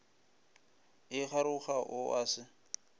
a kgaroga o a se